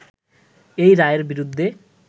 এই রায়ের বিরুদ্ধে